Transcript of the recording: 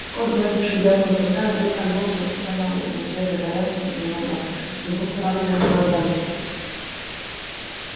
скотт гладивший белого клыка вдруг нагнулся и показал на свежие порезы на его морде и глубокую рану между глазами